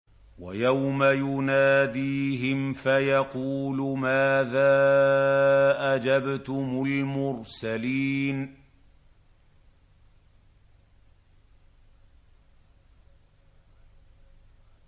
وَيَوْمَ يُنَادِيهِمْ فَيَقُولُ مَاذَا أَجَبْتُمُ الْمُرْسَلِينَ